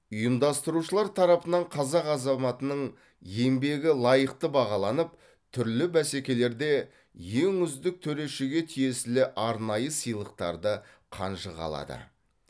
ұйымдастырушылар тарапынан қазақ азаматының еңбегі лайықты бағаланып түрлі бәсекелерде ең үздік төрешіге тиесілі арнайы сыйлықтарды қанжығалады